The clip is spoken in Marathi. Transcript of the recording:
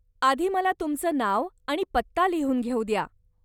आधी मला तुमचं नाव आणि पत्ता लिहून घेऊ द्या.